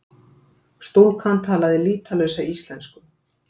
Stúlkan talaði lýtalausa íslensku.